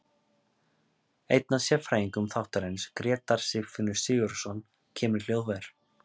Einn af sérfræðingum þáttarins, Grétar Sigfinnur Sigurðarson, kemur í hljóðver.